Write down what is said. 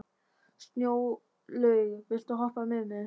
Snjólaug, viltu hoppa með mér?